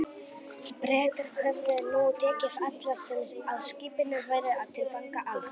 Bretar höfðu nú tekið alla, sem á skipinu voru, til fanga, alls